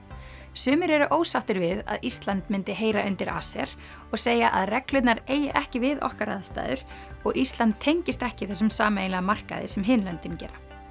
sumir eru ósáttir við að Ísland myndi heyra undir ACER og segja að reglurnar eigi ekki við okkar aðstæður og Ísland tengist ekki þessum sameiginlega markaði sem hin löndin gera